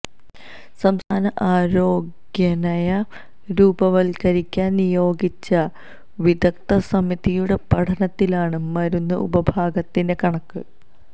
സംസ്ഥാന ആരോഗ്യനയം രൂപവത്കരിക്കാന് നിയോഗിച്ച വിദഗ്ധസമിതിയുടെ പഠനത്തിലാണ് മരുന്ന് ഉപഭോഗത്തിന്റെ കണക്ക്